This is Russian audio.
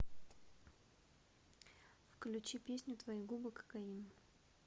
включи песню твои губы кокаин